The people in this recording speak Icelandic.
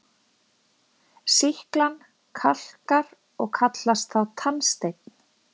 Sýklan kalkar og kallast þá tannsteinn.